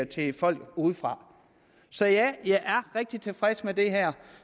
til folk udefra så ja jeg er rigtig tilfreds med det her